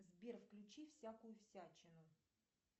сбер включи всякую всячину